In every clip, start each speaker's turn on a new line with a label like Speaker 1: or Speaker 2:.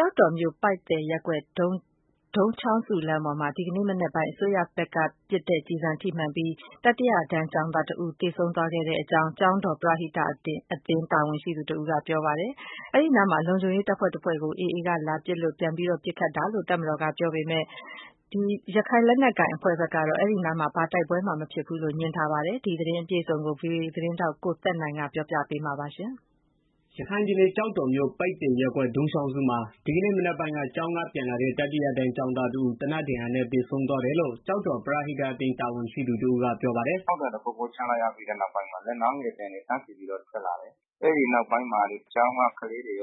Speaker 1: ောက်တော်မြို့ ပိုက်သယ်ရပ်ကွက် ဒုံးချောင်းစုလမ်းပေါ်မှာ ဒီကနေ့မနက်ပိုင်းက တတိယတန်း ကျောင်းသားတစ်ဦးကို သေနတ်ဒဏ်ရာနဲ့ သေဆုံးသွားခဲ့တယ်လို့ ကျောက်တော်ပရဟိတအသင်း တာဝန်ရှိသူတစ်ဦးကပြောပါတယ်။ တော်မတော်ဘက်ကတော့ အဲဒီအနားမှာ လုံခြုံရေး တပ်ဖွဲ့တစ်ခုကို AAက လာရောက်ပစ်ခတ်တာကြောင့် ပြန်လည်ပစ်ခတ်ရတာဖြစ်တယ်လို့ ပြောပါ တယ်။ ရခိုင်လက်နက်ကိုင် AAအဖွဲ့ကတော့ အဲဒီအနားမှာ ဘာတိုက်ပွဲမှ ဖြစ်ပွားတာမရှိဘူးလို့ ငြင်းဆိုထားပါတယ်။ ဒီသတင်းအပြည့်အစုံကိုတော့ ဗွီအိုအေ သတင်းထောက် ကိုသက်နိုင်က ပြောပြပေးမှာပါ။
Speaker 2: ရခိုင်ပြည်နယ် ကျောက်တော်မြို့ ပိုက်သယ်ရပ်ကွက် ဒုံးချောင်းစုမှာ ဒီကနေ့မနက်ပိုင်းက ကျောင်းက ပြန်လာတဲ့ တတိယတန်းကျောင်းသားတစ်ဦး သေနတ်ဒါဏ်ရာနဲ့သေဆုံးသွားတယ်လို့ ကျောက်တော် ပရသိတအသင်း တာဝန်ရှိသူ တစ်ဦးက ပြောပါတယ်။ “ဒ
Speaker 1: ီနေ့မနက်ကပိုင်းက ပေါက်ကွဲသံ တစ်ခုခုတော့ ကြားလိုက်ရတယ် ကျနော်တို့ပြည်သူတွေက အဲအသံကြားပြီးတဲ့နောက်မှာ လက်နက်ငယ်သံတွေ တန်းစီပြီးတော့ ထွက်လာတယ်။ အဲဒီနောက်ပိုင်း ကျောင်းကလေးတွေ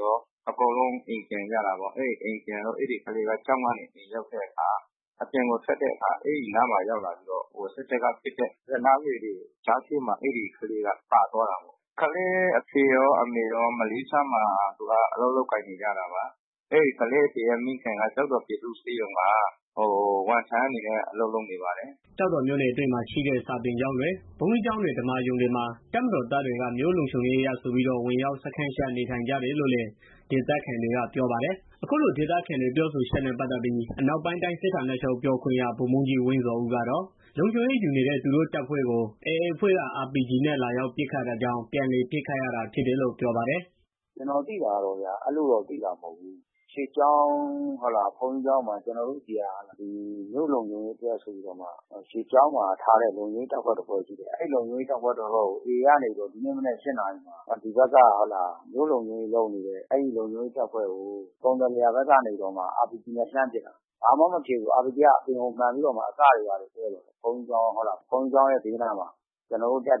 Speaker 1: အကုန်လုံးအိမ်ပြန်ကြတာပေါ့။ အဲဒီကလေးက ကျောင်းကနေ အိမ်ကို ရောက်တဲ့ခါ အပြင်ကိုထွက်ရင်း စစ်တပ်က ပစ်တဲ့ လက်နက်ကငယ်တွေ ကြားထဲမှာ အဲကလေးက ပါသွားတာပေါ့။ ကလေးအဖေရော အမေရော မလေးရှားမှာ အလုပ်လုပ်ကိုင်နေကြတာပါ။ သူက အဘွားနဲ့နေတာ။ သူ့အဘွားက ကျောက်တော် ပြည်သူ့ဆေးရုံမှာ ဝန်ထမ်းအနေနဲ့ အလုပ်လုပ်နေတာပါ။
Speaker 2: ” ကျောက်တော်မြို့နယ်အတွင်းမှာ ရှိတဲ့ စာသင်ကျောင်းတွေ၊ ဘုန်းကြီးကျောင်းတွေ ဓမ္မာရုံတွေမှာ တပ်မတော် သား တွေက မြို့လုံခြုံရေးအရဆိုပြီးတော့ ဝင်ရောက်စခန်းချနေထိုင်ကြတယ်လို့လည်း ဒေသခံ တွေက ပြောပါ တယ်။ အခုလိုဒေသခံတွေ ပြောဆိုချက်နဲ့ ပတ်သတ်ပြီး အနောက်ပိုင်းတိုင်းစစ်ဌာနချုပ် ပြောခွင့်ရ ဗိုလ်ဗှူးကြီး ဝင်းဇော်ဦးကတော့ လုံခြုံရေး ယူနေတဲ့ သူတို့တပ်ဖွဲ့ကို AAအဖွဲ့က RPG နဲ့ လာရောက်ပစ်ခတ်တာကြောင့် ပြန်လည် ပစ်ခတ်ရတာ ဖြစ်တယ်လို့ ပြောပါတယ်။
Speaker 1: “ကျနော်သိတာကတော့ အဲလိုမျိုးသိတာမဟုတ်ဘူး ကျနော်တို့ ရွေကျောင်း ဘုန်းကြီးကျောင်းမှာ မြို့လုံခြုံရေး အတွက်ဆိုပြီးတော့ ထားထားတဲ့ လုံခြုံရေး အဖွဲ့တစ်ဖွဲ့ရှိတယ်။ အဲဒီလုံခြုံရေး တပ်ဖွဲ့ကို AAကနေပြီးတော့ ဒီနေ့မနက် ၈နာရီမှာ လုံခြုံရေး တပ်ဖွဲ့ကို ကုန်သယ်လယ်ယာဖက်ကနေပြီးတော့ RPGနဲ့ လှမ်းပစ်တာ။ လာမှ တော့ မဖြစ်ဘူး RPDကအပြင်ကို မှန်ပြီးတော့ အစပ်တွေလောက်ပဲထိတာ။ တပ်ကလည် ဘုန်းကြီးကျောင်း ဘေးနားမှာနေတဲ့ တပ်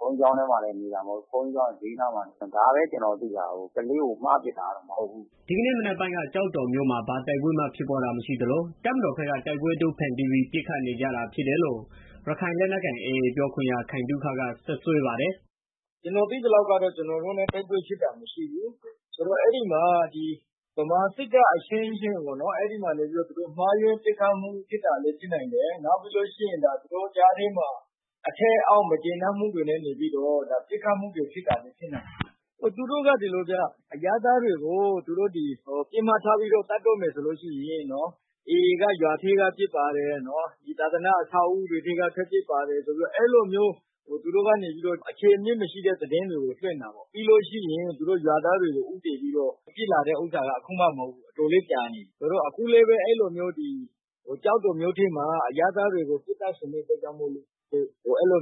Speaker 1: ဘုန်းကြီးကျောင်း ဘေးနားမှာနေတာ။ ဒါပဲကျနော်သိတာ ကလေးကို မှားပစ်တာလည်း မဟုတ်ဘူး
Speaker 2: ပစ်လည်း မပစ်ဘူး။” ဒီကနေ့မနက်ပိုင်းက ကျောက်တော်မြို့မှာ ဘာတိုက်ပွဲမှဖြစ်ပွားတာမရှိသလို တပ်မတော်က တိုက်ပွဲအတုဖန်တီးပြီး ပစ်ခတ်နေကြတာဖြစ် တယ်လို့ ရခိုင်လက်နက်ကိုင်AAပြောခွင့်ရ ခိုင်သုခက စွပ်စွဲပါ တယ်။
Speaker 3: “ကျနော်သိသလောက်ကတော့ ကျနော်တို့နဲ့ တိုက်ပွဲဖြစ်တာမရှိဘူး။ အဲဒီမှာ ဗမာစစ်တပ်အချင်းချင်း မှားယွင်းပစ်ခတ်တာလည်း ဖြစ်နိုင်တယ်။ နောက်ပြီးတော့ သူတို့ ကြားထဲမှာ အထက်အောက် မကျေနပ်မှုတွေလည်း ဖြစ်နိုင်တယ်။ သူတို့က ဒီလိုဗျာ အရပ်သားတွေကို ပစ်မှတ်ထားပြီးတော့ သတ်တော့မယ် ဆိုရင် AAက ရွာထဲက ပစ်ပါတယ်။ သာသန အဆောက်အဦးတွေက ပစ်ပါတယ်ဆိုပြီးတော့ အဲလိုမျိုး သူတို့ကနေပြီးတော့ အခြေအမြစ်မရှိတဲ့ သတင်းတွေကို လွင့်တာပေါ့။ ပြီးလို့ရှိရင် အဲလို ရွာသားတွေကို ဦးတည်ပြီး ပစ်လာတာက အခုမှမဟုတ်ဘူး။ တော်တော်ကြာနေပြီ။ အဲလိုမျိုး ကျော်တော်မြို့ထဲမှာ အရပ်သား တွေကို ပစ်သတ်ချင်တာကြောင့်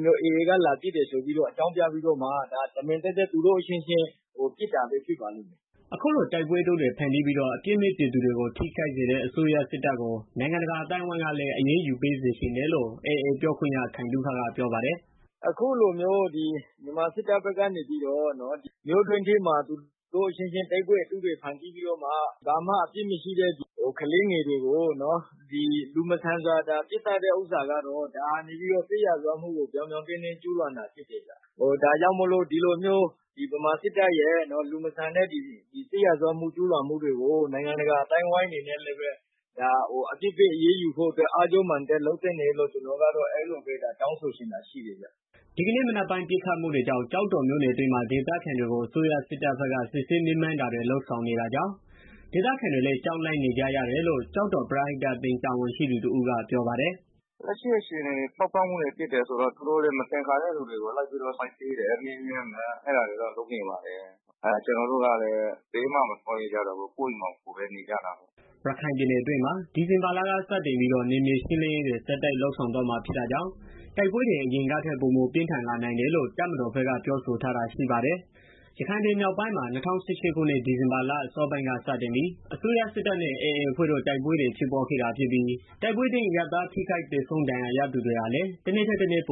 Speaker 3: AAကလာပစ်တယ်ဆိုပြီးတော့ အကြောင်းပြပြီး သူတို့အချင်းချင်း ပစ်ကြတာပဲ ဖြစ်လိမ့်မယ်
Speaker 2: ။” အခုလို တိုက်ပွဲအတုတွေ ဖန်တီးပြီးတော့ အပြစ်မယ့် ပြည်သူတွေကို ထိခိုက်စေတဲ့ အစိုးရစစ်တပ်ကို နိုင်ငံတကာ အသိုင်းအဝိုင်းကလည်း အရေးယူပေးစေချင်တယ်လို့ AAပြောခွင့်ရ ခိုင်သုခက ပြောပါတယ်။
Speaker 3: “အခုလိုမျိုး ဗမာစစ်တပ်ဖက်ကနေပြီးတော့ မြို့တွင်းထဲမှာ သူတု့ိအချင်းချင်း တိုက်ပွဲတွေ ဖန်တီးပြီးတော့မှ ဘာမှအပြစ်မရှိတဲ့ ကလေးသငယ်တွေကို လူမဆန်စွာပစ်သတ်တဲ့ ဟာကတော့ ဒါက စစ်ရာဇဝတ်မှုကို ပြောင်ပြောင်တင်းတင်း ကြူးလွန်တာ ဖြစ်တယ်ဗျာ။ ဒါကြောင့် ဗမာစစ်တပ်ရဲ့ စစ်ရာဇတ်ဝမှုတွေကို နိုင်ငံတကာ အသိုင်းအဝိုင်းကနေပြီးတော့ အရေးယူဖို့အတွက် အားကျိုးမာန်တက် လုပ်သင့်တယ်လို့ ကျနော်တို့ကတော့ တောင်းဆိုချင်တယ်ဗျာ။”
Speaker 2: ဒီကနေ့မနက်ပိုင်း ပစ်ခတ်မှုတွေကြောင့် ကျောက်တော်မြို့တွင်းမှာ ဒေသခံတွေကို အစိုးရစစ်တပ်ဘက်က စစ်ဆေးမေးမြန်းတာတွေ လုပ်ဆောင်နေတာကြောင့် ဒေသခံတွေလည်း ကြောက်လန့်နေကြရတယ်လို့ ကျောက်တော်ပရဟိတအသင်း တာဝန်ရှိသူတစ်ဦးကပြောပါတယ်။
Speaker 1: “လက်ရှိအခြေအနေကတော့ ပေါက်ကွဲမှုဖြစ်တယ်ဆိုတော့ သူတို့လည်း မသင်္ကာတဲ့ သူတွေကို လိုက်ပြီးတော့ စစ်ဆေးတယ်။မေးမြန်းတယ် အဲတာတွေတော့ လုပ်နေပါတယ်။ ကျနော်တို့ကလည်း ဘယ်မှမသွားရဲကျတော့ပဲ ကိုယ့်အိမ်မှာ ကိုယ်နေကြတာပေါ့
Speaker 2: ။” ရခိုင်ပြည်နယ်တွင်းမှာ ဒီဇင်ဘာလကစတင်ပြီးတော့ နယ်မြေရှင်းလင်းရေးတွေ ဆက်တိုက်လုပ်ဆောင်သွားမှာ ဖြစ်တာကြောင့် တိုက်ပွဲတွေ အရင်ကထက် ပိုမိုပြင်းထန်လာနိုင်တယ်လို့ တပ်မတော်ဘက်က ပြောဆိုထား တာရှိပါတယ်။ ရခိုင်ပြည် မြောက်ပိုင်းမှာ ၂၀၁၈ ခုနှစ် ဒီဇင်ဘာလ အစောပိုင်းက စတင်ပြီး အစိုးရစစ်တပ်နဲ့ AA အဖွဲ့တို့ တိုက်ပွဲတွေ ဖြစ်ပွားခဲ့တာဖြစ်ပြီး တိုက်ပွဲအတွင်း အရပ်သားထိခိုက်သေဆုံး ဒဏ်ရာရသူတွေဟာလည်း တစ်နေ့ ထက်တစ်နေ့ ပ